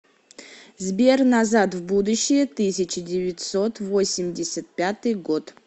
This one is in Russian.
сбер назад в будущее тысяча девятьсот восемьдесят пятый год